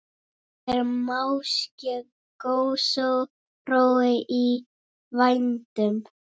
Er máske gosórói í vændum?